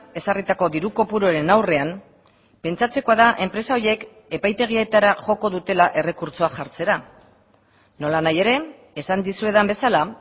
ezarritako diru kopuruaren aurrean pentsatzekoa da enpresa horiek epaitegietara joko dutela errekurtsoa jartzera nola nahi ere esan dizuedan bezala